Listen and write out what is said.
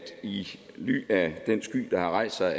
i ly af den sky der har rejst sig